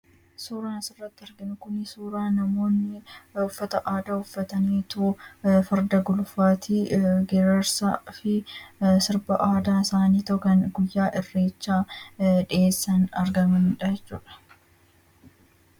Suuraan asirratti arginu kun suuraa namoonni uffata aadaa uffataniitoo farda gulufaatii geerarsaa fi sirba aadaa isaaniitoo kan guyyaa irreechaa dhiyeessan argamanii dha jechuu dha.